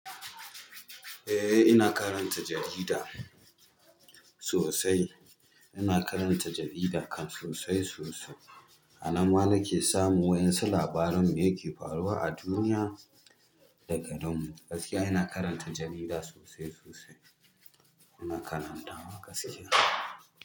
Eh ina karanta jarida sosai. Ina karanta jarida kan sosai sosai. A nan ma na ke samu waƴansu labarin me ke faruwa a duniya da garinmu. Gaskiya ina karanta jarida sosai sosai. Ina karanta a gaskiya.